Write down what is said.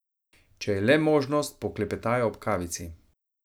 Če je le možnost, poklepetajo ob kavici.